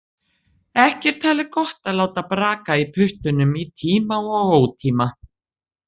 Ekki er talið gott að láta braka í puttunum í tíma og ótíma.